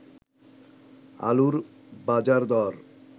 আলুর বাজারদর